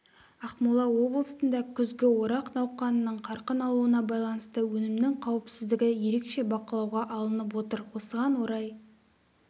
ақмола облысында күзгі орақ науқанының қарқын алуына байланысты өнімнің қауіпсіздігі ерекше бақылауға алынып отыр осыған орай